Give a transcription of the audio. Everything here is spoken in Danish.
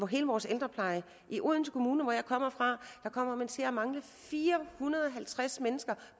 hele vores ældrepleje i odense kommune som jeg kommer fra kommer man til at mangle fire hundrede og halvtreds mennesker